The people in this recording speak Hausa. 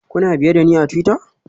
Kuna biye da ni a twitter?